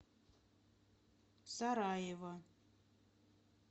сараево